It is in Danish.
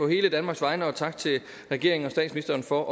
hele danmarks vegne og tak til regeringen og statsministeren for